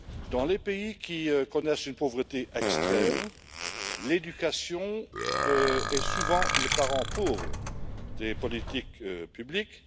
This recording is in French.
Dans les pays qui connaissent une pauvreté extrême, l'éducation est souvent le parent pauvre des politiques publiques.